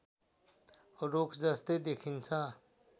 रुखजस्तै देखिन्छ